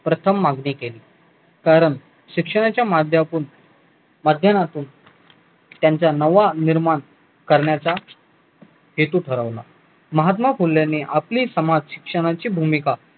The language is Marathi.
प्रथम मागणी केली कारण शिक्षणाच्या मध्यातुन माध्यना तून त्यांच्या नवा निर्माण करण्याचा हेतू ठरवला महात्माफुल्यानी आपले समाज शिक्षणाची भूमिका